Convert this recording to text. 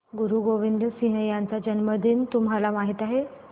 गुरु गोविंद सिंह यांचा जन्मदिन तुम्हाला माहित आहे